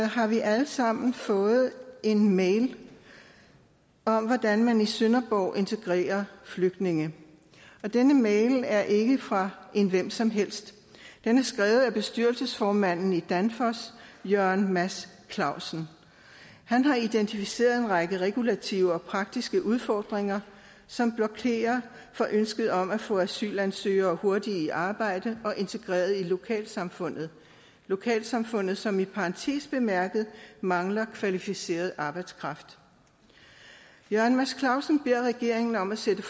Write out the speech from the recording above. har vi alle sammen fået en mail om hvordan man i sønderborg integrerer flygtninge denne mail er ikke fra en hvem som helst den er skrevet af bestyrelsesformanden i danfoss jørgen mads clausen han har identificeret en række regulativer og praktiske udfordringer som blokerer for ønsket om at få asylansøgere hurtigt i arbejde og integreret i lokalsamfundet lokalsamfundet som i parentes bemærket mangler kvalificeret arbejdskraft jørgen mads clausen beder regeringen om at sætte